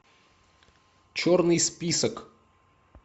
черный список